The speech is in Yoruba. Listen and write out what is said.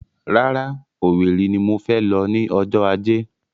Rárá, Owerri ni mo fẹ lọ ní ọjọ́ ajé